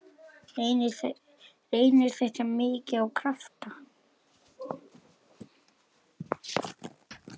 Reynir þetta mikið á krafta?